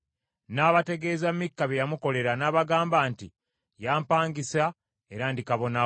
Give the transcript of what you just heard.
N’abategeeza Mikka bye yamukolera, n’abagamba nti, “Yampangisa era ndi kabona we.”